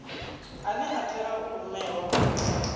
ane a tea u rumelwa